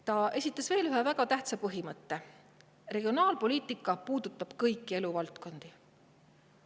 Ta esitas veel ühe väga tähtsa põhimõtte: regionaalpoliitika puudutab kõiki eluvaldkondi.